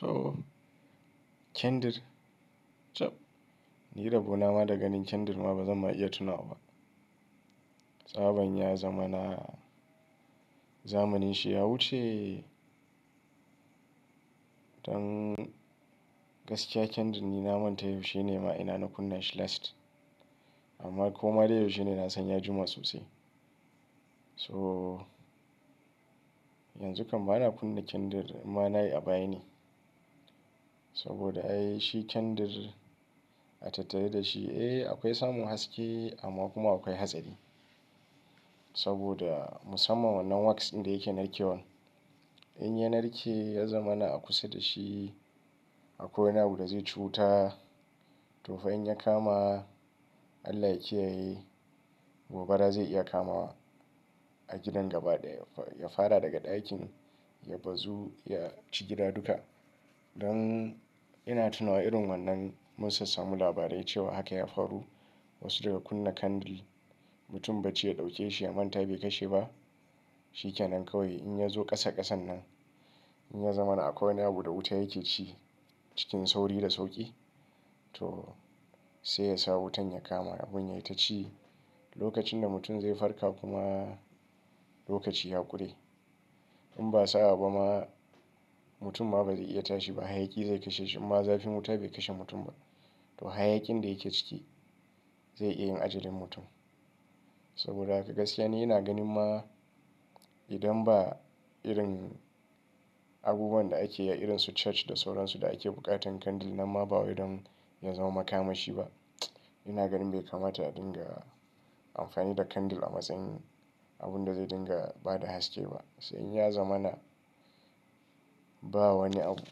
To, kyandir? Cab, ni da rabo na ma da ganin kyandir ma bazan ma iya tunawa ba. Tsaban ya zama na zamanin shi. Ya wuce Dan gaskiya kyandir ni na manta yaushe ne ma ina na kunna shi last. Amma ko ma dai yaushe ne, na san ya juma sosai. So, yanzu kam bana kunna kyandir inma na yi a baya ne. Saboda ai shi kyandir a tattare da shi, eh akwai samun haske amma kuma akwai hatsari. Saboda musamman wannan wax ɗin da yake narkewa. In ya narke, ya zama na a kusa da shi a kwai wani abu da zai ci wuta. To fa in ya kama, Allah ya kiyaye, gobara zai iya kama a gidan gaba ɗaya. Ya fara daga ɗakin, ya bazu, ya ci gida duka. Dan ina tuna wa irin wannan mun sassamu labarai cewa haka ya faru. Wasu daga kunna kandil, mutum bacci ya ɗauke shi, ya manta bai kashe ba. Shi ke nan kawai. In ya zo ƙasa ƙasan nan, in ya zamana a kwai wani abu da wuta yake ci cikin sauri da sauƙi, to sai ya sa wutan ya kama abun yayi ta ci. Lokacin da mutum zai farka kuma lokaci ya ƙure. In ba sa'a ba ma, mutum ma ba zai iya tashi ba. Hayaki zai kashe shi. Inma zafin wuta bai kashe mutum ba. To hayakin da yake ciki zai iya yin ajalin mutum. Saboda haka gaskiya ni ina ganin ma idan ba irin abubuwan da ake yi a irin su church da sauran su da ake buƙatan kandil nan ma ba wai don ya zama makamashi ba. Ina ganin bai kamata a dinga amfani da kandil a matsayin abun da zai dinga ba da haske ba. Sai in ya zama na ba wani abu,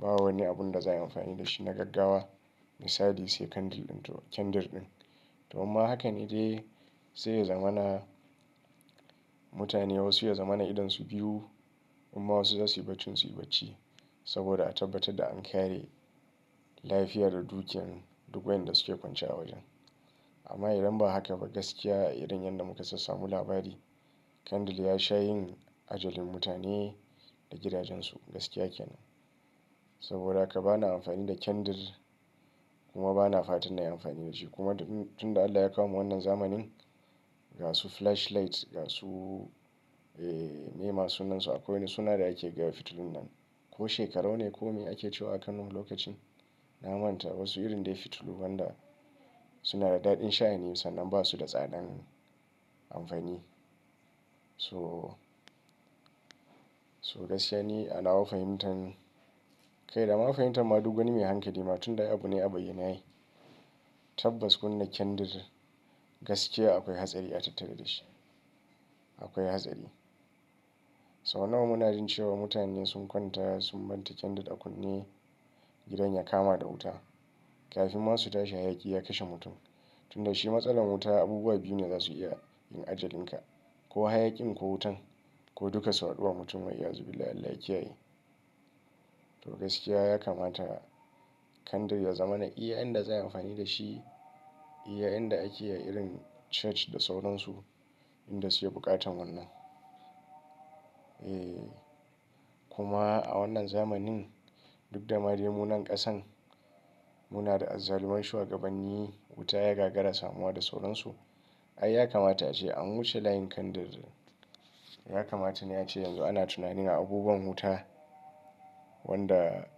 ba wani abun da za a yi amfani da shi na gaggawa. Misali sai kandil ɗin to kyandir ɗin. To amma hakan dai sai ya zama na mutane wasu ya zama na idonsu biyu inma wasu za su yi bacin su yi bacci. Saboda a tabbatar da an kare lafiya da dukiyan duk waɗan da suke kwance a wajen. Amma idan ba haka ba, gaskiya irin yadda muka sassamu labari, kandil ya sha yin ajalin mutane da gidajensu. Gaskiya ke nan. Saboda haka bana amfani da kyandir kuma bana fatan na yi amfani da shi. Kuma tun da Allah ya kawo wannan zamanin, ga su flashlight, ga su, eh, me masu nan su akwai. Suna da ake gayawa fitulun nan. Ko shekarau ne ko me ake cewa a Kano lokacin. Na manta wasu irin dai fitulu wanda suna da daɗin sha'ani sannan ba su da tsadan amfani. So, so gaskiya ni anawa fahimtan, kai dama fahimtan ma duk wani mai hankali ma tun da ai abu ne a bayyane ai. Tabbas kunna kyandir gaskiya akwai hatsari a tattare da shi. Akwai hatsari. Sau nawa muna jin cewa mutane sun kwanta sun manta kyandir a kunne gidan ya kama da wuta. Kafin ma su tashi hayaki ya kashe mutum. Tun da shi matsalar wuta abubuwa biyu ne za su iya yin ajalin ka. Ko hayakin ko wutan ko duka su haɗu wa mutum wai ya zube. Allah ya kiyaye. To gaskiya ya kamata kandil ya zamana iya inda za a yi amfani da shi, iya inda ake yi a irin church da sauran su inda suke buƙatan wannan. Eh, kuma a wannan zamanin duk da madai munan ƙasan, muna da azzaluman shugabanni, wuta ya gagara samuwa da sauran su. Ai ya kamata ace an wuce layin kandil. Ya kamata ne ace yanzu ana tunanin a abubuwan wuta wanda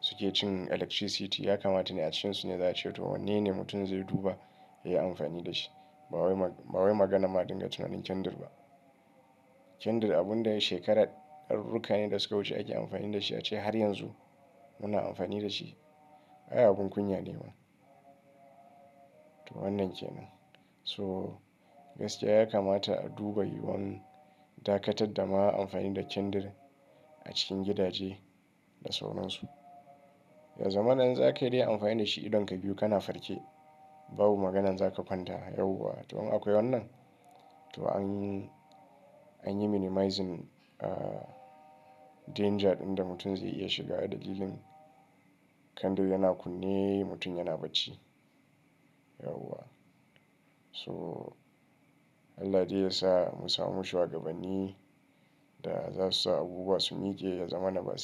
suke cin electricity. Ya kamata ne a cikinsu ne za'ace to wanne ne mutum zai duba yayi amfani da shi. Ba wai, ba wai maganar ma dinga tunanin kandil ba. Kyandir abun da shekara darurruka ne da suka wuce ake amfani da shi a ce har yanzu muna amfani da shi. Ai abun kunya ne ma. To wannan ke nan. So gaskiya ya kamata a duba yiwuwan dakatar da ma amfani da kyandir a cikin gidaje da sauran su. Ya zamana in za kai dai amfani da shi idonka biyu kana farke. Babu maganan za ka kwanta yawwa. To amma akwai wannan. To an, an yi minimizing, ah, danger ɗin da mutum zai iya shiga dalilin kandil yana kunne mutum yana bacci. Yawwa. So Allah dai ya sa mu samu shugabanni da za su sa abubuwa su mike ya zamana.